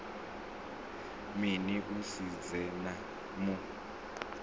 mini u si dze mu